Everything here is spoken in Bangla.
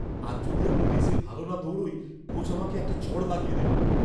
আজ যদি আমি রেসে ভালো না দৌড়ই কোচ আমাকে একটা চড় লাগিয়ে দেবে।